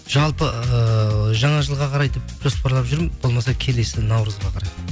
жалпы ыыы жаңа жылға қарай деп жоспарлап жүрмін болмаса келесі наурызға қарай